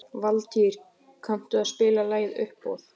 Valtýr, kanntu að spila lagið „Uppboð“?